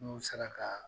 N'u sera ka